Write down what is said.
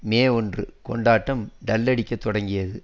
மே ஒன்று கொண்டாட்டம் டல்லடிக்கத் தொடங்கியது